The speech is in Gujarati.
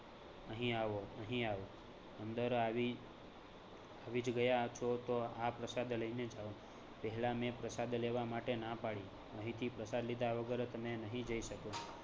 અહીં આવો, અહીં આવો, અંદર આવી આવી જ ગયા તો તો આ પ્રસાદ લઈને જાઓ. પહેલાં મેં પ્રસાદ લેવા માટે ના પાડી. અહીંથી પ્રસાદ લીધા વગર તમે નહીં જઈ શકો